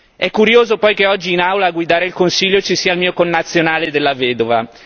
È curioso poi che oggi in Aula a guidare il Consiglio ci sia il mio connazionale Della Vedova.